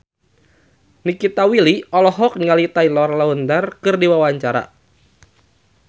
Nikita Willy olohok ningali Taylor Lautner keur diwawancara